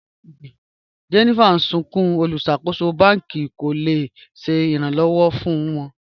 Jennifer n sùnkún, olúṣakòsò bàn̄kì kò le ṣẹ̀ ìràn-lọ́wọ̀ fún wọ̀.